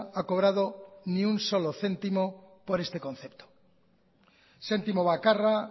ha cobrado ni un solo céntimo por este concepto zentimo bakarra